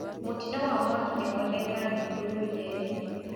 Mũtino wa mwaki nĩwoneka thukuru Nyerĩ.